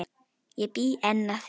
Ég bý enn að því.